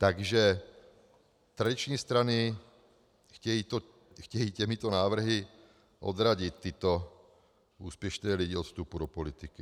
Takže tradiční strany chtějí těmito návrhy odradit tyto úspěšné lidi od vstupu do politiky.